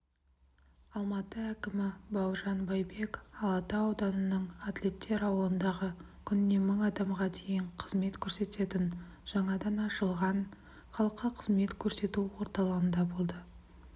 алматы әкімі бауыржан байбек алатау ауданының атлеттер ауылындағы күніне мың адамға дейін қызмет көрсететін жаңадан ашылған халыққа қызмет көрсету орталығында болды